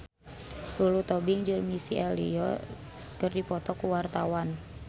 Lulu Tobing jeung Missy Elliott keur dipoto ku wartawan